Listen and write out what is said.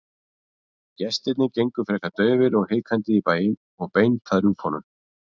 Gestirnir gengu frekar daufir og hikandi í bæinn og beint að rjúpunum.